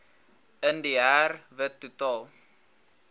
indiër wit totaal